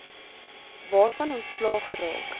waarvan ontslae geraak